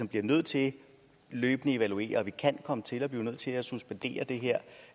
bliver nødt til løbende at evaluere og at vi kan komme til at blive nødt til at suspendere det her